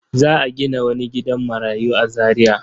Za a gina wani gidan marayu a Zariya.